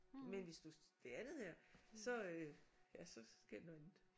Men hvis du det andet her så øh ja så øh sker der noget andet